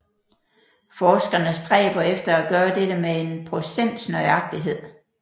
Forskerne stræber efter at gøre dette med en procents nøjagtighed